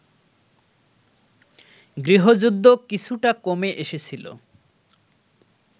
গৃহযুদ্ধ কিছুটা কমে এসেছিল